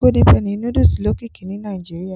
Golden penny núdúsì lókìkí ni Nàìjíríà